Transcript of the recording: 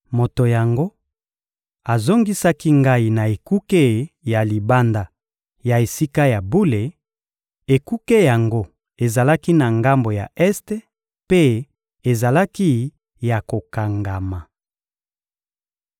Moto yango azongisaki ngai na ekuke ya libanda ya Esika ya bule; Ekuke yango ezalaki na ngambo ya este mpe ezalaki ya kokangama.